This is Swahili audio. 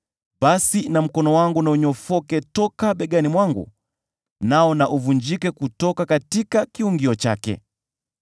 basi mkono wangu na unyofoke toka begani mwangu, nao na uvunjike kutoka kiungio chake.